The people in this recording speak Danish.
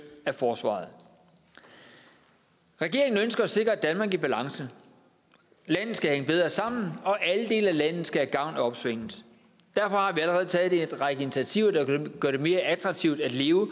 af forsvaret regeringen ønsker at sikre et danmark i balance landet skal hænge bedre sammen og alle dele af landet skal have gavn af opsvinget derfor har vi allerede taget en række initiativer der vil gøre det mere attraktivt at leve